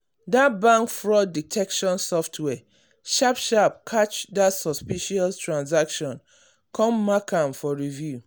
that bank fraud detection software sharp sharp catch that suspicious transaction come mark am for review.